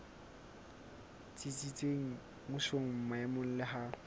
tsitsitseng mmusong maemong le ha